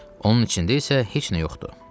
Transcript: Onun içində isə heç nə yoxdur.